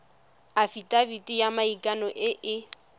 afitafiti ya maikano e e